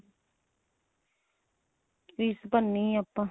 fees ਭਰਨੀ ਏ ਆਪਾਂ